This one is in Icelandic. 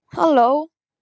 Halló